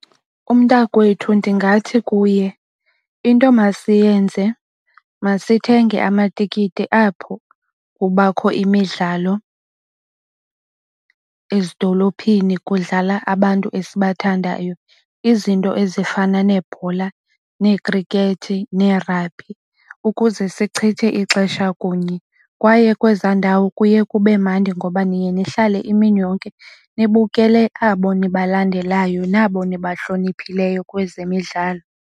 Umntakwethu ndingathi kuye into masiyenze masithenge amatikiti apho kubakho imidlalo ezidolophini kudlala abantu esibathandayo. Izinto ezifana neebhola, neekhrikethi, neerabhi ukuze sichithe ixesha kunye. Kwaye kwezaa ndawo kuye kube mandi ngoba niye nihlale imini yonke nibukele abo nibalandelayo nabo nibahloniphileyo kwezemidlalo.